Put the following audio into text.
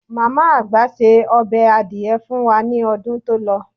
Màmá àgbà ṣe ọbẹ̀ adìẹ fun wá ní ọdún tó lọ.